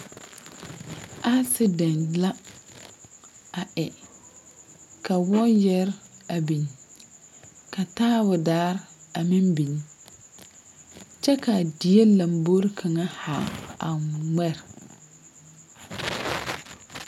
Asedɛnte la a e ka wayare biŋ ka taabodaa a meŋ biŋ kyɛ ka a die lombori kaŋa ŋmɛre.